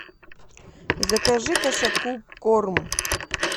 закажи кошаку корм